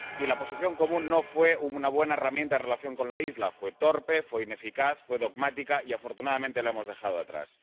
Y la Posición Común no fue una buena herramienta en relación con la isla fue torpe, fue ineficaz, fue dogmática y, afortunadamente, la hemos dejado atrás.